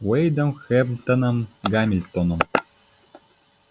уэйдом хэмптоном гамильтоном